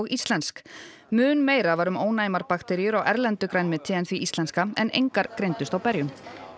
íslensk mun meira var um ónæmar bakteríur á erlendu grænmeti en því íslenska en engar greindust á berjum